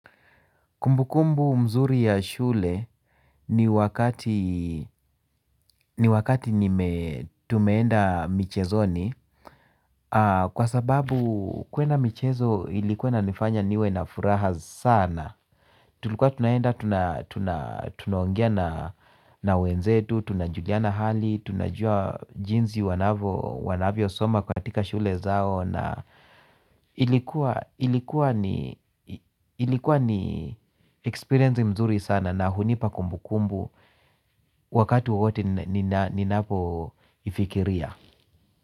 Kumbukumbu mzuri ya shule ni wakati nime tumeenda michezoni kwa sababu kuenda michezo ilikuwa inanifanya niwe na furaha sana. Tulikuwa tunaenda, tunaongea na wenzetu, tunajuliana hali, tunajua jinsi wanavyosoma katika shule zao na iliku ilikuwa ni experience nzuri sana na hunipa kumbukumbu wakati wowote ninapoifikiria.